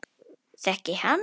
Þekki hann.